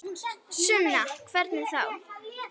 Sunna: Hvernig þá?